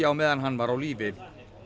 á meðan hann var á lífi